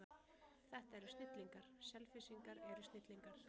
Þetta eru snillingar, Selfyssingar eru snillingar.